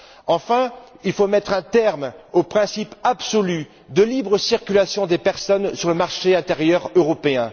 Enfin, il faut mettre un terme au principe absolu de libre circulation des personnes sur le marché intérieur européen.